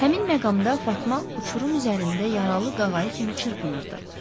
Həmin məqamda Fatma uçurum üzərində yaralı qağayı kimi çırpınırdı.